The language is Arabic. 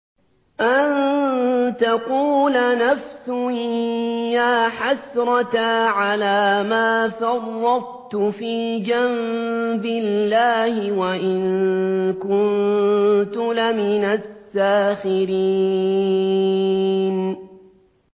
أَن تَقُولَ نَفْسٌ يَا حَسْرَتَا عَلَىٰ مَا فَرَّطتُ فِي جَنبِ اللَّهِ وَإِن كُنتُ لَمِنَ السَّاخِرِينَ